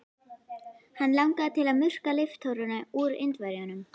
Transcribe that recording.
Hann langaði til að murka líftóruna úr Indverjanum.